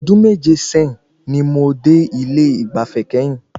Ọdún méje sẹ́yìn ni mo dé ilé ìgbafẹ́ kẹ́yìn.